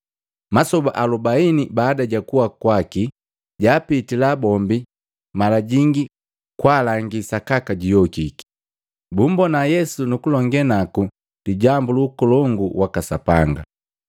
Masoba alubaini baada jakuwa kwaki, jaapitila bombi mala jingi kwaalangi sakaka juyokiki. Bummbona Yesu nukulongee naku lijambu lu Ukolongu waka Sapanga.